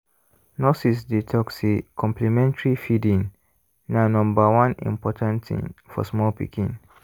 nurses dey talk say complementary feeding na number one important thing for small pikin.